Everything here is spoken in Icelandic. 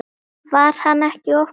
Var hann ekki of gamall?